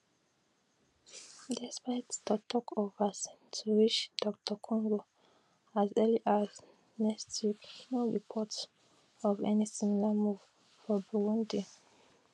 despite toktok of vaccines to reach dr congo as early as next week no reports of any similar move for burundi